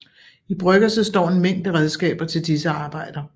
I bryggerset står en mængde redskaber til disse arbejder